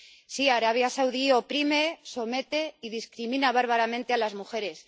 Sí, Arabia Saudí oprime, somete y discrimina bárbaramente a las mujeres.